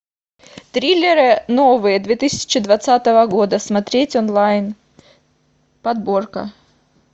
триллеры новые две тысячи двадцатого года смотреть онлайн подборка